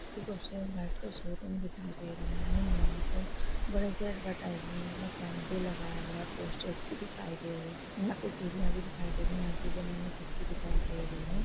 Show room दिखाई दे रही है यहा पर बड़े से ऍडवरटाइसेमेंट का पम्पलेट लगाया गया है पोस्टेर्स भी दिखाई दे रहे है यहा पे सूर्य भी दिखाई दे रहा है।